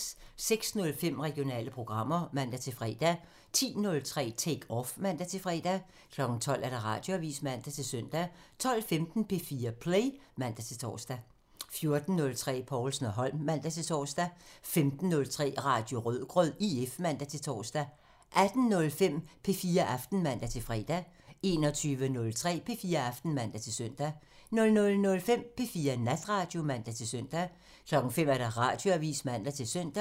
06:05: Regionale programmer (man-fre) 10:03: Take Off (man-fre) 12:00: Radioavisen (man-søn) 12:15: P4 Play (man-tor) 14:03: Povlsen & Holm (man-tor) 15:03: Radio Rødgrød IF (man-tor) 18:05: P4 Aften (man-fre) 21:03: P4 Aften (man-søn) 00:05: P4 Natradio (man-søn) 05:00: Radioavisen (man-søn)